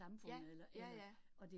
Ja, ja ja